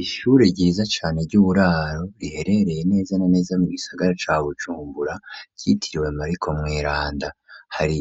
Ishure ryiza cane ry'uburaro riherereye neza na neza mu gisagara ca Bujumbura ryitiriwe Mariko Mweranda hari